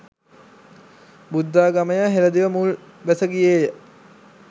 බුද්ධාගමය හෙළදිව මුල් බැස ගියේ ය.